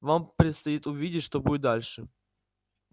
вам предстоит увидеть что будет дальше